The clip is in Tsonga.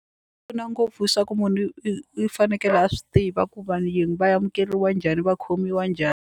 pfuna ngopfu swa ku munhu i i fanekele a swi tiva ku vayeni va amukeliwa njhani va khomiwa njhani.